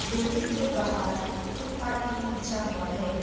Building के बाहर footpath भी बिछा हुआ है।